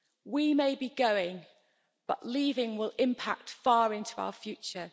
We may be going, but leaving will impact far into our future.